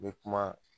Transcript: N bɛ kuma